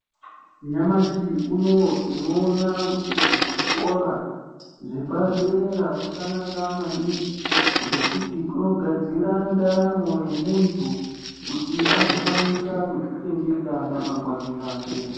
Nyamashi unouyu tinowona kuti kuzvikora, zvepadera kwakanaka maningi ngekuti kunogadzira ntaramo yemuntu kuti azokwanisa kuzvichengeta ramangwana rake.